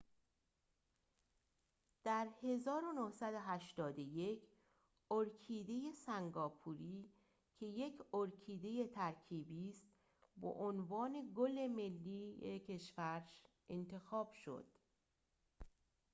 در ۱۹۸۱ ارکیده سنگاپوری که یک ارکیده ترکیبی است به عنوان گل ملی کشور انتخاب شد